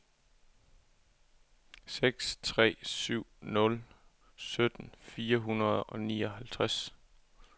seks tre syv nul sytten fire hundrede og nioghalvtreds